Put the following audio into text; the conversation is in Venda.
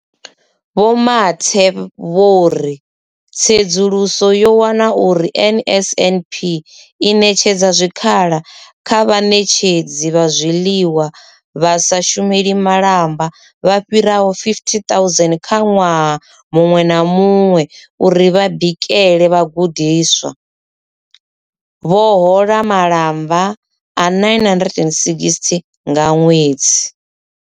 Vho Mathe vho ri tsedzuluso yo wana uri NSNP i ṋetshedza zwikhala kha vhaṋetshedzi vha zwiḽiwa vha sa shumeli malamba vha fhiraho 50 000 kha ṅwaha muṅwe na muṅwe uri vha bikele vhagudiswa, vha hola malamba a 960 nga ṅwedzi.